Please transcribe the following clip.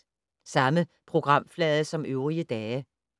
Samme programflade som øvrige dage